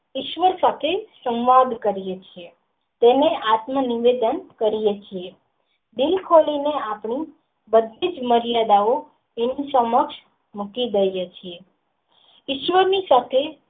ઉસવા થકી સવાંદ કરિયું છે તેમને આત્મ નિવેદન કરિયું છે દિલ ખોલી ને આપણું બધી જ મરિયાદ ઓ મૂકી દઈએ છીએ ઈશ્વર ની સાથે.